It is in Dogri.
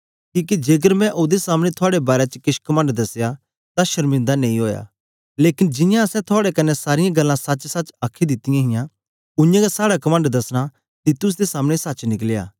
किके जेकर मैं ओदे सामने थुआड़े बारै च केछ कमंड दसया तां शर्मिंदा नेई ओया लेकन जियां असैं थुआड़े कन्ने सारीयां गल्लां सच्चसच्च आखी दितीयां हां उयांगै साड़ा कमंड दसना तीतुस दे सामने सच्च निकलया